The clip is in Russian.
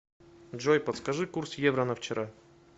джой подскажи курс евро на вчера